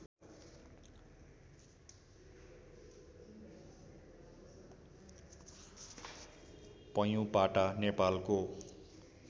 पैयुँपाटा नेपालको